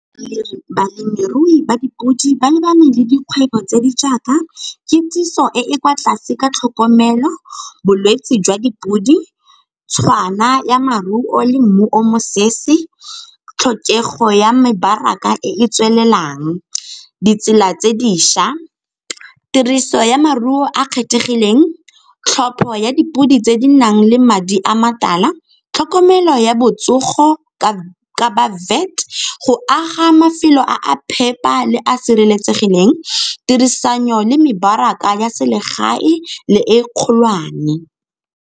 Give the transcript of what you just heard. Balemirui ba dipodi ba lebaneng le dikgwebo tse di jaaka kitsiso e e kwa tlase ka tlhokomelo, bolwetse jwa dipodi tshwana ya maruo le mmu o mosese, tlhokego ya mebaraka e e tswelelang, ditsela tse dišwa, tiriso ya maruo a a kgethegileng, tlhopho ya dipodi tse di nang le madi a matala, tlhokomelo ya botsogo ka , go aga mafelo a a phepa le a sireletsegileng, tirisano le mebaraka ya selegae le e kgolwane.